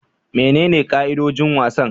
Menene ka'idojin wasan?